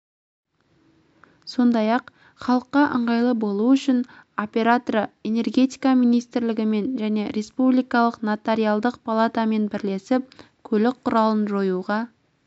сондай-ақ халыққа ыңғайлы болу үшін операторы энергетика министрлігімен және республикалық нотариалдық палатамен бірлесіп көлік құралын жоюға